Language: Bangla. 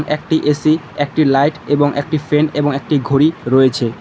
একটি এ_সি একটি লাইট এবং একটি ফ্যান এবং একটি ঘড়ি রয়েছে।